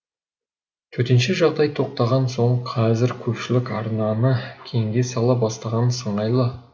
төтенше жағдай тоқтаған соң қазір көпшілік арқаны кеңге сала бастаған сыңайлы